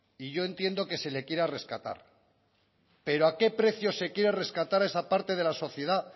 y yo entiendo que se le quiera rescatar pero a qué precio se quiere rescatar esa parte de la sociedad